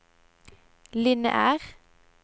lineær